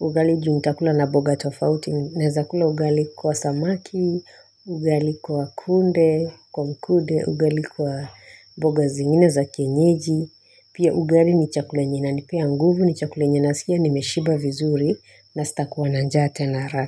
ugali juu nitakula na mboga tofauti naeza kula ugali kwa samaki ugali kwa kunde kwa mkude ugali kwa boga zingine za kienyeji pia ugali ni chakula enye inanipea nguvu ni chakula nasikia nimeshiba vizuri na sitakuwa na njaa tena haraka.